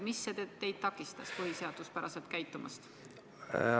Mis teid takistas põhiseaduspäraselt käitumast?